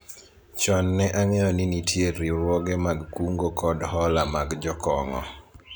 chon ne ang'eyo ni nitie riwruoge mag kungo kod hola mag jokong'o